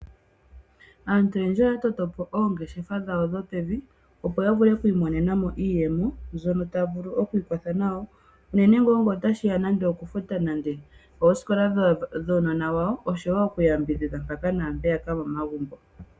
Aantu oyendji oya toto po oongeshefa dhawo dhopevi, opo ya vule oku imonena mo iiyemo mbyono ta vulu oku ikwatha nayo, unene ngaa ngele otashi ya nande okufuta nande oosikola dhuunona wawo oshowo okuyambidhidha mpaka naampeyaka momagumbo.